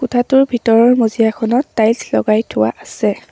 কোঠাটোৰ ভিতৰৰ মজিয়াখনত টায়েলছ লগাই থোৱা আছে।